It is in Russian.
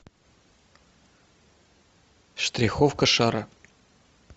штриховка шара